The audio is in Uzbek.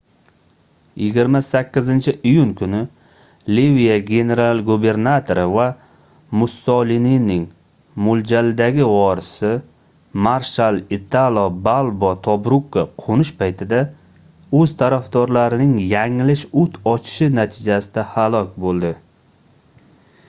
28-iyun kuni liviya general-gubernatori va mussolinining moʻljaldagi vorisi marshal italo balbo tobrukka qoʻnish paytida oʻz tarafdorlarining yanglish oʻt ochishi natijasida halok boʻldi